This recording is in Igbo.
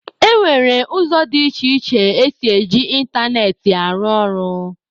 E nwere ụzọ dị iche iche esi e ji ịntanetị arụ ọrụ.